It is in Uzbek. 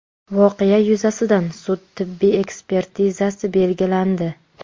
Voqea yuzasidan sud tibbiy ekspertizasi belgilandi.